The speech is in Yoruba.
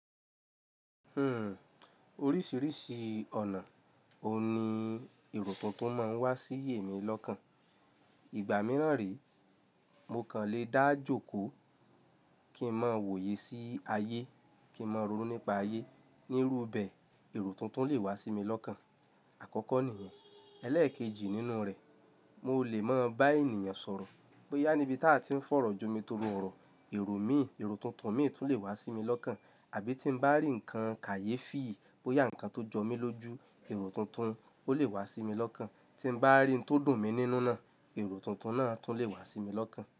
Hmm, oríṣìíríṣìí ọ̀nà, òun ni èrò tuntun máa ń wá sí èmi lọ́kàn. Ìgbà mìíràn rí, mo kàn lè dáàjòkó kí n máa wòye sí ayé, kí n máa rò ó nípa ayé. Nírú bẹ̀e, èrò tuntun lè wá sí mi lọ́kàn. Àkọ́kọ́ nìyẹn. Ẹlẹ́èkejì nínú rẹ̀, mo lè máa bá ènìyàn sọ̀rọ̀, bóyá níbi tá a ti ń fọ̀rọ̀ jọ mi torí ọ̀rọ̀, èrò mi, èrò tuntun mi tún lè wá sí mi lọ́kàn. Àbí tí mo bá rí nǹkan kàyé fìyì, bóyá nǹkan tó jọ mí lójú, èrò tuntun ó lè wá sí mi lọ́kàn. Ti ba ri ohun to dun mi ninu naa. Ero tuntun naa tun le wa mi lokan.